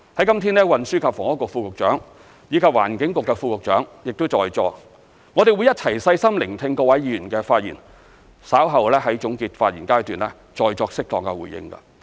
今日運輸及房屋局副局長和環境局副局長亦在座，我們會一起細心聆聽各位議員的發言，稍後在總結發言階段再作適當回應。